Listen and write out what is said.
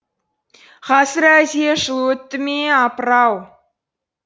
ғасыр әлде жыл өтті ме апыр ау